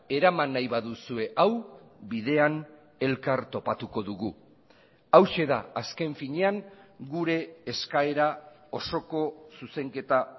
eraman nahi baduzue hau bidean elkar topatuko dugu hauxe da azken finean gure eskaera osoko zuzenketa